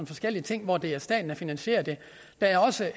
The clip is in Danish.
forskellige ting hvor det er staten der finansierer det der er også